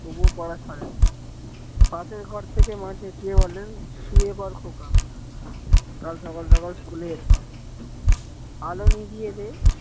তবুও পড়া ছাড়েনি। পাশের ঘর থেকে মা চেঁচিয়ে বলেন শুয়ে পর খোকা কাল সকাল সকাল school এ যেতে হবে এল নিভিয়েদে